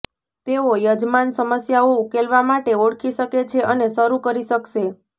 તેઓ યજમાન સમસ્યાઓ ઉકેલવા માટે ઓળખી શકે છે અને શરૂ કરી શકશે